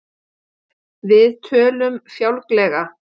Við tölum fjálglega.